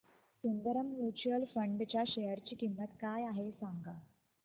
Sundaram mutual fund च्या share ची किंमत काय आहे सांगा